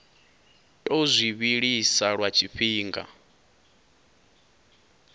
tou zwi vhilisa lwa tshifhinga